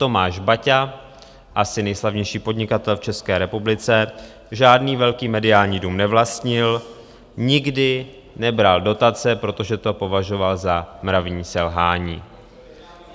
Tomáš Baťa, asi nejslavnější podnikatel v České republice, žádný velký mediální dům nevlastnil, nikdy nebral dotace, protože to považoval za mravní selhání.